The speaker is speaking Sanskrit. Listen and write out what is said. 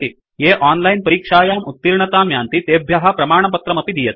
ये ओनलाइन् परीक्षायां उत्तीर्णतां यान्ति तेभ्य प्रमाणपत्रमपि दीयते